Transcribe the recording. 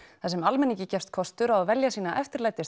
þar sem almenningi gefst kostur á að velja sína